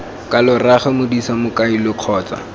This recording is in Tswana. kalo rraago modise mmolai kgotsa